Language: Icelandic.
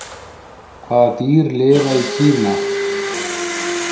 Hvaða dýr lifa í Kína?